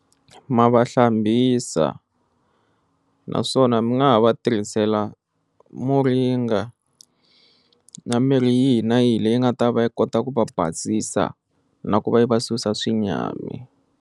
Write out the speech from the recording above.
Ma va hlambisa naswona mi nga ha va tirhisela muringana na mirhi yihi na yihi leyi nga ta va yi kota ku va basisa na ku va yi va susa xinyami.